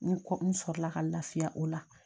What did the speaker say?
N kɔ n sɔrɔ la ka lafiya o la